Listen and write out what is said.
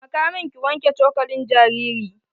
Taimaka min ki wanke cokalin jariri.